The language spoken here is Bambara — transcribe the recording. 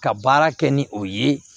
Ka baara kɛ ni o ye